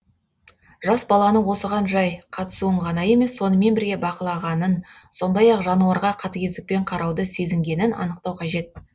жас баланы осыған жай қатысуын ғана емес сонымен бірге бақылағанын сондай ақ жануарға қатігездікпен карауды сезінгенін анықтау қажет